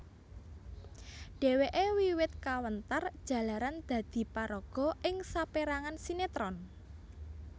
Dheweke wiwit kawentar jalaran dadi paraga ing saperangan sinetron